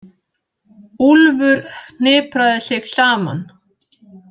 Úlfur hnipraði sig saman.